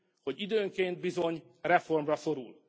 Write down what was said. hogy időnként bizony reformra szorul.